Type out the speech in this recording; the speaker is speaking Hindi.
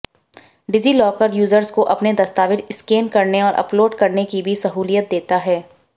डिजिलॉकर यूजर्स को अपने दस्तावेज स्कैन करने और अपलोड करने की भी सहूलियत देता है